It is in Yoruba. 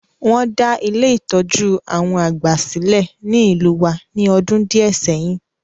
Won da Ile-itọju àwon àgbà silẹ̀ ni ìlú wa ni ọdún díẹ̀ sẹyin.